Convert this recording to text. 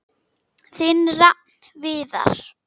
Þinn Rafn Viðar.